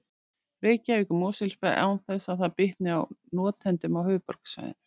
Reykjavík og Mosfellsbæ án þess að það bitnaði á notendum á höfuðborgarsvæðinu.